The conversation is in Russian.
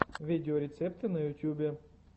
видеорецепты на ютубе